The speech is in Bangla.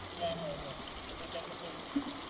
হ্যাঁ হ্যাঁ ওটার কথাই বলছিলাম